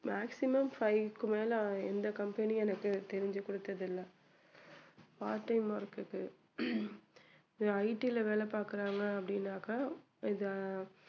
maximum five க்கு மேல எந்த கம்பெனியும் எனக்கு தெரிஞ்சு கொடுத்ததில்லை part time work க்கு IT ல வேலை பாக்குறாங்க அப்படின்னாக்க இதை